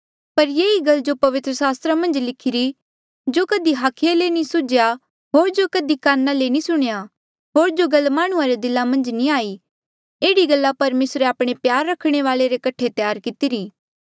पर ये ही गल जो पवित्र सास्त्रा मन्झ लिखिरी जो कधी हाखिये ले नी सुझ्या होर जो कधी काना ले नी सुणेया होर जो गल माह्णुंआं रे दिला मन्झ नी आई एह्ड़ी गल्ला परमेसरे आपणे प्यार रखणे वाले रे कठे त्यार कितरी